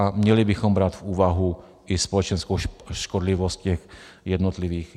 A měli bychom brát v úvahu i společenskou škodlivost těch jednotlivých...